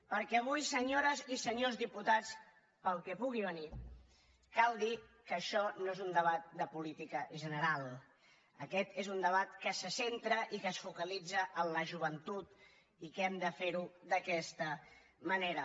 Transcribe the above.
perquè avui senyores i senyors diputats pel que pugui venir cal dir que això no és un debat de política general aquest és un debat que se centra i que es focalitza en la joventut i que hem de fer ho d’aquesta manera